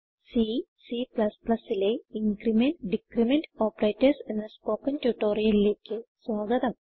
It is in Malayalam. C Cലെ ഇൻക്രിമെന്റ് ഡിക്രിമെന്റ് Operatorsഎന്ന സ്പോകെൻ ട്യൂട്ടോറിയലിലേക്ക് സ്വാഗതം